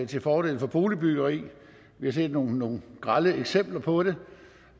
til fordel for boligbyggeri vi har set nogle nogle grelle eksempler på det